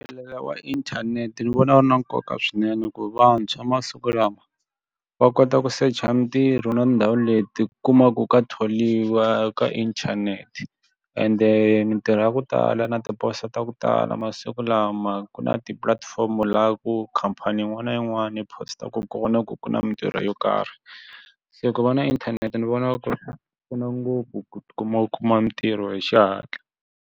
wa inthanete ni vona ku ri na nkoka swinene ku vantshwa masiku lawa va kota ku secha mitirho na ndhawu leti ku kumaku ka tholiwa ka inthanete ende mitirho ya ku tala na tiposo ta ku tala masiku lama ku na ti-platform laha ku khampani yin'wani na yin'wani yi post-aku kona ku ku na mitirho yo karhi se ku va na inthanete ni vona ku pfuna ngopfu ku ti kuma u kuma mitirho hi xihatla.